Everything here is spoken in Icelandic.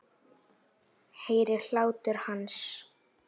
Heyri hlátur hans.